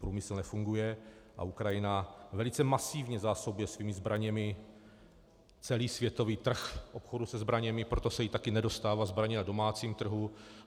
Průmysl nefunguje a Ukrajina velice masivně zásobuje svými zbraněmi celý světový trh obchodu se zbraněmi, proto se jí také nedostává zbraní na domácím trhu.